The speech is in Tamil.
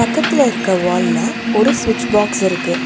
பக்கத்துல இருக்க வால்ல ஒரு சுவிட்ச் பாக்ஸ் இருக்கு.